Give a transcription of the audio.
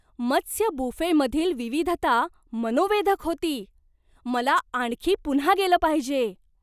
मत्स्य बुफेमधील विविधता मनोवेधक होती! मला आणखी पुन्हा गेलं पाहिजे.